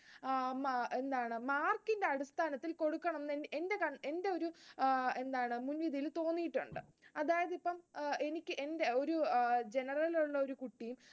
അഹ് എന്താണ് mark ഇൻറ്റെ അടിസ്ഥാനത്തിൽ, കൊടുക്കണമെന്ന് എന്റെയൊരു അഹ് എന്താണ് മുൻവിധിയിൽ തോന്നിയിട്ടുണ്ട്. അതായത് ഇപ്പം, അഹ് എനിക്ക് എന്റെ ഒരു general ലുള്ള ഒരു കുട്ടിയും